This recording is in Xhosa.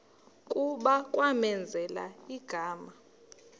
kuba kwamenzela igama